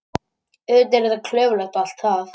Auðvitað er þetta klaufalegt og allt það.